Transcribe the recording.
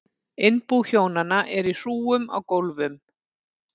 Innbú hjónanna er í hrúgum á gólfum.